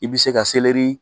I bɛ se ka